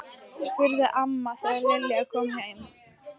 spurði amma þegar Lilla kom heim.